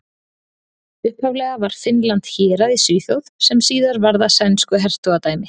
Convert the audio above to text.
Upphaflega var Finnland hérað í Svíþjóð sem síðar varð að sænsku hertogadæmi.